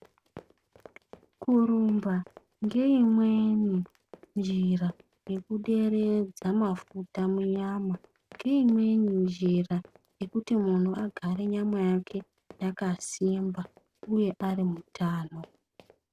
Kurumba ngeimweni njira yekuderedza mafuta mumwiri ngeimweni njira yekuti munhu agare nyama yake yakasimba uye ari mutano.